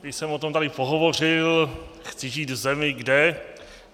Již jsem o tom tady pohovořil: chci žít v zemi, kde...